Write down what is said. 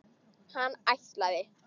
Hann ætlaði.